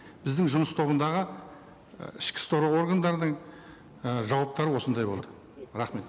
біздің жұмыс тобындағы і ішкі істер органдардың і жауаптары осындай болды рахмет